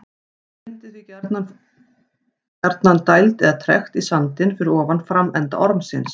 Það myndast því gjarnan gjarnan dæld eða trekt í sandinn fyrir ofan framenda ormsins.